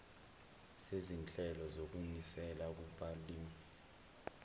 sezinhlelo zokunisela kubalimi